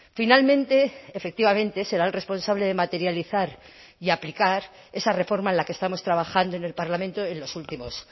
finalmente efectivamente será el responsable de materializar y aplicar esa reforma en la que estamos trabajando en el parlamento en los últimos